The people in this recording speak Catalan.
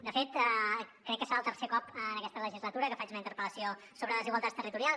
de fet crec que serà el tercer cop en aquesta legislatura que faig una interpel·lació sobre desigualtats territorials